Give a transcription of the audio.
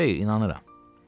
Xeyr, inanıram.